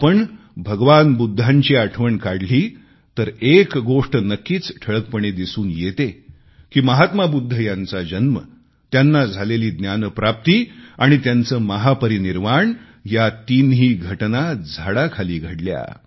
आपण भगवान बुद्धांची आठवण काढली तर एक गोष्ट नक्कीच ठळकपणे दिसून येते की महात्मा बुद्ध यांचा जन्म त्यांना झालेली ज्ञानप्राप्ती आणि त्यांचे महापरिनिर्वाण या तिन्ही घटना झाडाखाली घडल्या